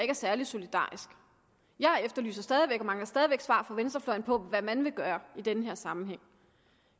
er særlig solidarisk jeg efterlyser stadig væk og mangler stadig væk svar fra venstrefløjen på hvad man vil gøre i den her sammenhæng